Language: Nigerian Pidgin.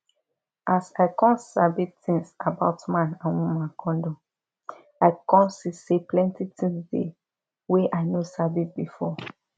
as i come sabi tins about man and woman condom i come see say plenty tins dey wey i no sabi before